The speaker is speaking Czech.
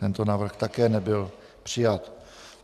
Tento návrh také nebyl přijat.